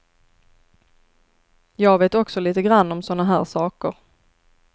Jag vet också lite grann om såna här saker.